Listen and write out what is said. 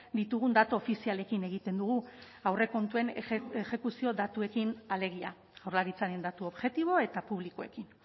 ditugun datu ofizialekin egiten dugu aurrekontuen exekuzio datuekin alegia jaurlaritzaren datu objektibo eta publikoekin